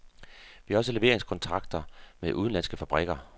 Vi har også leveringskontrakter med udenlandske fabrikker.